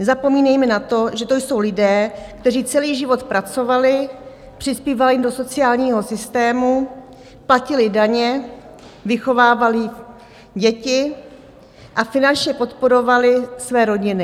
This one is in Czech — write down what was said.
Nezapomínejme na to, že to jsou lidé, kteří celý život pracovali, přispívali do sociálního systému, platili daně, vychovávali děti a finančně podporovali své rodiny.